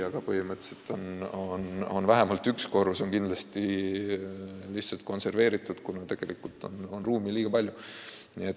Aga põhimõtteliselt on vähemalt üks korrus kindlasti lihtsalt konserveeritud, kuna ruumi on tegelikult liiga palju.